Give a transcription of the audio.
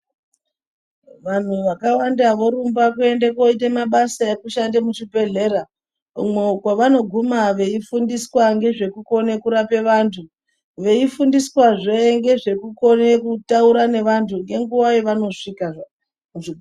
Vanhu vakawanda vorumba kuende kuoite mabasa ekushande muzvibhedhlera. Umwo kwavanoguma veifundiswa ngezvekukone kurape vantu. Veifundiswazve ngezvekukone kutaura ngevantu ngenguva yavanosvika...